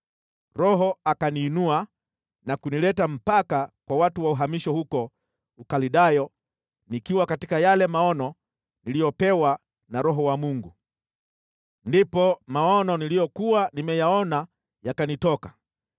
Roho akaniinua na kunileta mpaka kwa watu wa uhamisho huko Ukaldayo nikiwa katika yale maono niliyopewa na Roho wa Mungu. Ndipo maono niliyokuwa nimeyaona yakanitoka,